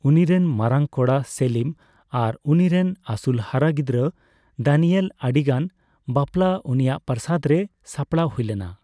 ᱩᱱᱤᱨᱮᱱ ᱢᱟᱨᱟᱝ ᱠᱚᱲᱟ ᱥᱮᱞᱤᱢ ᱟᱨ ᱩᱱᱤᱨᱮᱱ ᱟᱹᱥᱩᱞ ᱦᱟᱨᱟ ᱜᱤᱫᱽᱨᱟᱹ ᱫᱟᱱᱤᱭᱮᱞ ᱟᱹᱰᱤ ᱜᱟᱱ ᱵᱟᱯᱞᱟ ᱩᱱᱤᱭᱟᱜ ᱯᱨᱟᱥᱟᱫ ᱨᱮ ᱥᱟᱯᱲᱟᱣ ᱦᱩᱭ ᱞᱮᱱᱟ ᱾